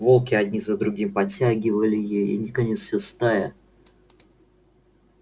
волки один за другим подтягивали ей и наконец вся стая